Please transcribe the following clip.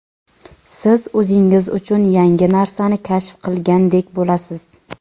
siz o‘zingiz uchun yangi narsani kashf qilgandek bo‘lasiz.